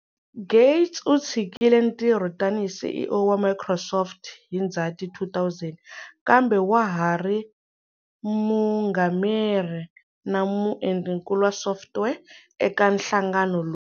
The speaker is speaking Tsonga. Gates u tshikile ntirho tani hi CEO wa Microsoft hi Ndzhati 2000, kambe wa ha ri mungameri na muendlinkulu wa software eka nhlangano lowu.